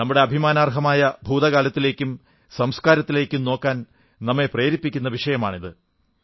നമ്മുടെ അഭിമാനാർഹമായ ഭൂതകാലത്തിലേക്കും സംസ്കാരത്തിലേക്കും നോക്കാൻ നമ്മെ പ്രേരിപ്പിക്കുന്ന വിഷയമാണിത്